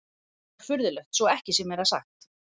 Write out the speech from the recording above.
Frekar furðulegt svo ekki sé meira sagt.